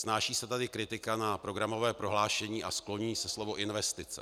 Snáší se tady kritika na programové prohlášení a skloňuje se slovo investice.